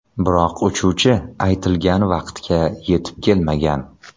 Biroq uchuvchi aytilgan vaqtga yetib kelmagan.